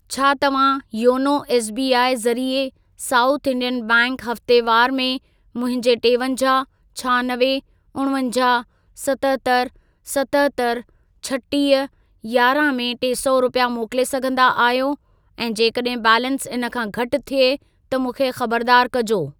छा तव्हां YONO SBI ज़रिए साउथ इंडियन बैंक हफ़्तेवारु में मुंहिंजे टेवंजाहु, छहानवे, उणवंजाहु, सतहतरि, सतहतरि, छटीह, यारहं में टे सौ रुपिया मोकिले सघंदा आहियो ऐं जेकॾहिं बैलेंस इन खां घटि थिए त मूंखे खबरदार कजो।